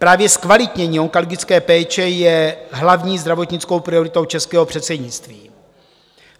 Právě zkvalitnění onkologické péče je hlavní zdravotnickou prioritou českého předsednictví.